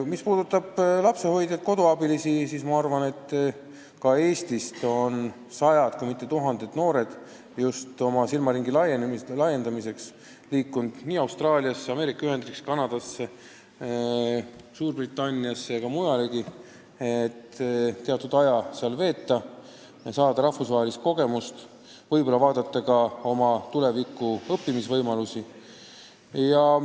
Mis puudutab lapsehoidjaid-koduabilisi, siis ka Eestist on sajad, kui mitte tuhanded noored just oma silmaringi laiendamiseks läinud seda tööd tegema Austraaliasse, Ameerika Ühendriikidesse, Kanadasse, Suurbritanniasse ja mujalegi, et teatud aja seal veeta ja saada rahvusvahelist kogemust, võib-olla uurida ka oma õppimisvõimalusi.